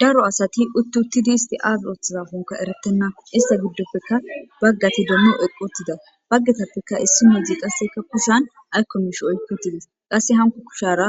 daro asati uttuttidi isti ar oththzaafunka erettenna ista giddoppeka baggati dommo oqotida baggetappeka issi meedzi qasse kappisan aykkonmsh oyketides qasse hanko kushara